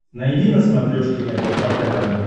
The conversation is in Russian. найди на смотрешке рбк тв